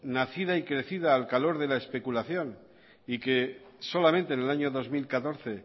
nacida y crecida al calor de la especulación y que solamente en el año dos mil catorce